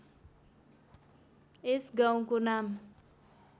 यस गाउँको नाम